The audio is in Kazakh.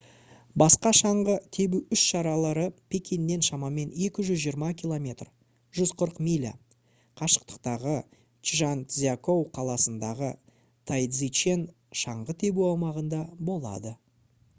басқа шаңғы тебу іс-шаралары пекиннен шамамен 220 км 140 миля қашықтықтағы чжанцзякоу қаласындағы тайцзичен шаңғы тебу аумағында болады